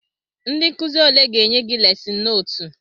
Ndị nkụzi ole ga-enye gị lesịn nootu?